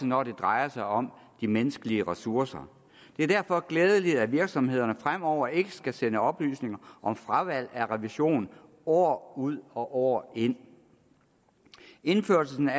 når det drejer sig om de menneskelige ressourcer det er derfor glædeligt at virksomhederne fremover ikke skal sende oplysninger om fravalg af revision år ud og år ind indførelsen af